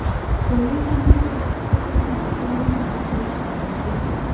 पोलिसांनी ते जप्त करुन अल्पवयीन आरोपीला ताब्यात घेतले